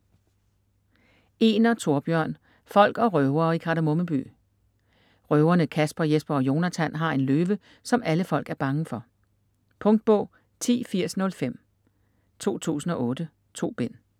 Egner, Thorbjørn: Folk og røvere i Kardemomme by Røverne Kasper, Jesper og Jonatan har en løve, som alle folk er bange for. Punktbog 108005 2008. 2 bind.